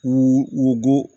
U bɔ